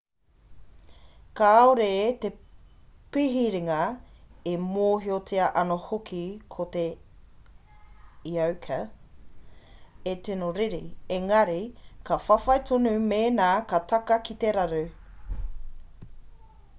kāore te pihiringa e mōhiotia ana hoki ko te eoka e tino riri engari ka whawhai tonu mēnā ka taka ki te raru